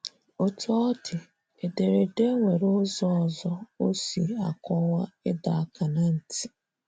Otú ọ dị, ederede nwere ụzọ ọzọ o si akọwa ịdọ aka ná ntị.